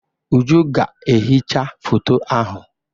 Uju ga-ehicha foto ahụ.